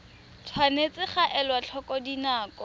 tshwanetse ga elwa tlhoko dinako